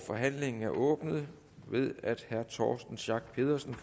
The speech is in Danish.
forhandlingen er åbnet ved at herre torsten schack pedersen